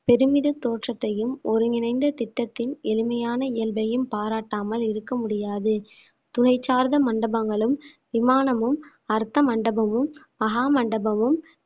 பெருமித தோற்றத்தையும் ஒருங்கிணைந்த திட்டத்தின் எளிமையான இயல்பையும் பாராட்டாமல் இருக்க முடியாது துணை சார்ந்த மண்டபங்களும் விமானமும் அர்த்த மண்டபமும் மகா மண்டபமும்